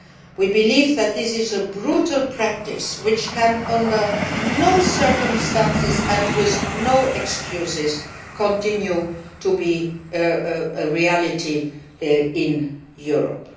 We believe that this is a brutal practice which can, under no circumstances and with no excuses, continue to be a reality in Europe.